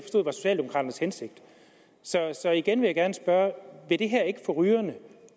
var socialdemokraternes hensigt så igen vil jeg gerne spørge vil det her ikke få rygerne